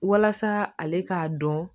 Walasa ale k'a dɔn